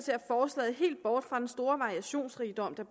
forslaget helt bort fra den store variationsrigdom der